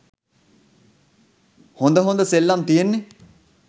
හොඳ හොඳ සෙල්ලං තියෙන්නෙ.